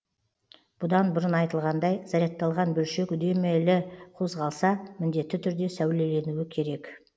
бұдан бұрын айтылғандай зарядталған бөлшек үдемелі қозғалса міндетті түрде сәулеленуі керек